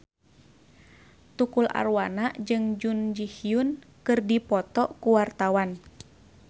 Tukul Arwana jeung Jun Ji Hyun keur dipoto ku wartawan